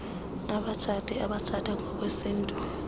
abatshati abatshata ngokwesintu